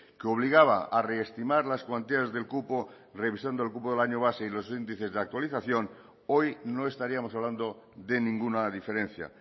que obligaba a reestimar las cuantías del cupo revisando el cupo del año base y los índices de actualización hoy no estaríamos hablando de ninguna diferencia